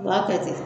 U b'a kɛ ten